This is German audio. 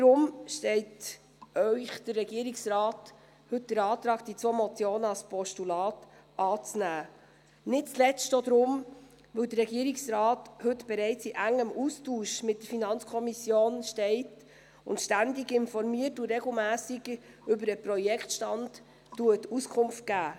Deswegen stellt Ihnen der Regierungsrat heute den Antrag, die zwei Motionen als Postulate anzunehmen – nicht zuletzt auch darum, weil der Regierungsrat heute bereits in engem Austausch mit der FiKo steht, ständig informiert und regelmässig über den Projektstand Auskunft gibt.